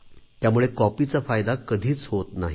त्यामुळे कॉपीचा फायदा कधीच होत नाही